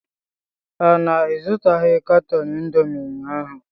Ọ na ịzụtaghị katọn indomi ụnyaahụ?